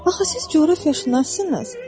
Axı siz coğrafiyaşünassınız.